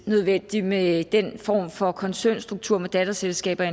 nødvendigt med den form for koncernstruktur med datterselskaber